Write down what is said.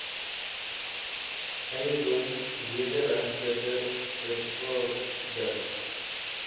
eiendom wederregtelik beskadig